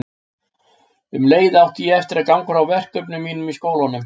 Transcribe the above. Um leið átti ég eftir að ganga frá verkefnum mínum í skólanum.